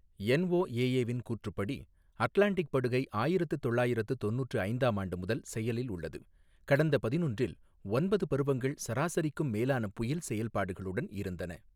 NOAA வின் கூற்றுப்படி, Atlantic படுகை ஆயிரத்து தொள்ளாயிரத்து தொண்ணூற்று ஐந்தாம் ஆண்டு முதல் செயலில் உள்ளது, கடந்த பதினொன்றில் ஒன்பது பருவங்கள் சராசரிக்கும் மேலான புயல் செயல்பாடுகளுடன் இருந்தன.